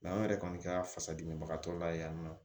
an yɛrɛ kɔni kɛra fasadimibagatɔ layɛ yan nɔ